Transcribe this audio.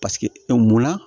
Paseke munna